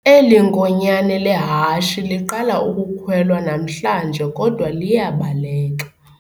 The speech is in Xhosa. Eli nkonyane lehashi liqala ukukhwelwa namhlanje kodwa liyabaleka.